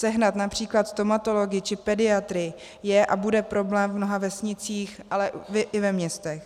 Sehnat například stomatology či pediatry je a bude problém v mnoha vesnicích, ale i ve městech.